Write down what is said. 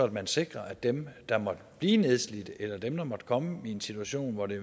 man sikrer at dem der måtte blive nedslidte eller dem der måtte komme i en situation hvor det